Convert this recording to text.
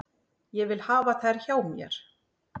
Ég vil hafa þær hjá mér.